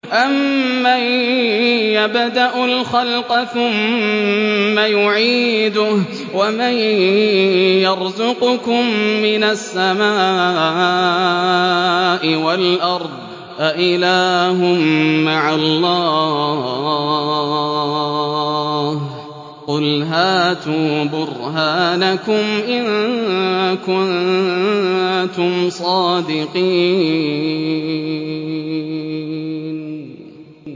أَمَّن يَبْدَأُ الْخَلْقَ ثُمَّ يُعِيدُهُ وَمَن يَرْزُقُكُم مِّنَ السَّمَاءِ وَالْأَرْضِ ۗ أَإِلَٰهٌ مَّعَ اللَّهِ ۚ قُلْ هَاتُوا بُرْهَانَكُمْ إِن كُنتُمْ صَادِقِينَ